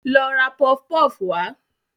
Lọ ra pọfpọf wá